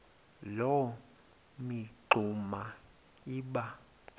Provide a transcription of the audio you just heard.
loo mingxuma iba